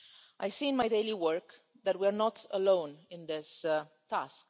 I see in my daily work that we are not alone in this task.